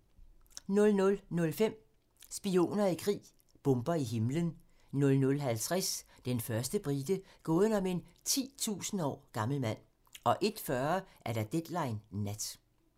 00:05: Spioner i krig: Bomber i himlen 00:50: Den første brite - gåden om en 10.000 år gammel mand 01:40: Deadline Nat